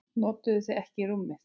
Notuðuð þið ekki rúmið?